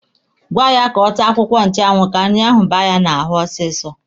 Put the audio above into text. Gwaa ya ka ọ taa akwụkwọ nchụanwụ ka nri ahụ baa ya n'ahụ ọsịsọ.